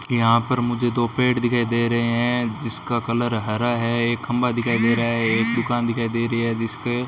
यहां पर मुझे दो पेड़ दिखाई दे रहे हैं जिसका कलर हरा है एक खंभा दिखाई दे रहा है एक दुकान दिखाई दे रही है जिसके --